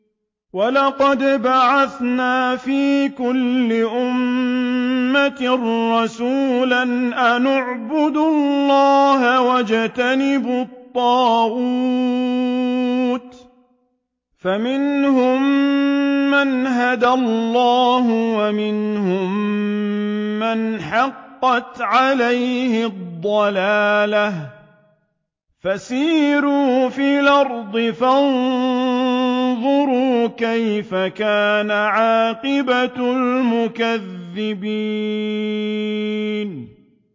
وَلَقَدْ بَعَثْنَا فِي كُلِّ أُمَّةٍ رَّسُولًا أَنِ اعْبُدُوا اللَّهَ وَاجْتَنِبُوا الطَّاغُوتَ ۖ فَمِنْهُم مَّنْ هَدَى اللَّهُ وَمِنْهُم مَّنْ حَقَّتْ عَلَيْهِ الضَّلَالَةُ ۚ فَسِيرُوا فِي الْأَرْضِ فَانظُرُوا كَيْفَ كَانَ عَاقِبَةُ الْمُكَذِّبِينَ